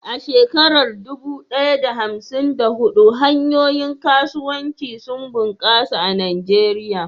A shekarar dubu ɗaya da hamsin da huɗu, hanyoyin kasuwanci sun bunƙasa a Najeriya.